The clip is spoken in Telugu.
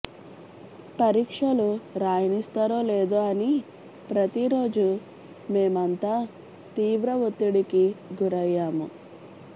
పరీక్షలు రాయనిస్తారో లేదో అని ప్రతి రోజు మేమంతా తీవ్ర ఒత్తిడికి గురయ్యాము